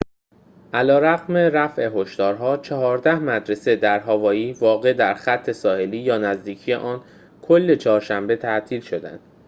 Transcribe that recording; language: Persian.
علیرغم رفع هشدارها چهارده مدرسه در هاوایی واقع در خط ساحلی یا نزدیکی آن کل چهارشنبه تعطیل شدند